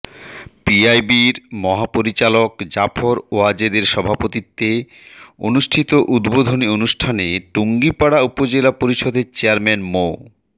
পিআইবির মহাপরিচালক জাফর ওয়াজেদের সভাপতিত্বে অনুষ্ঠিত উদ্বোধনী অনুষ্ঠানে টুঙ্গিপাড়া উপজেলা পরিষদের চেয়ারম্যান মো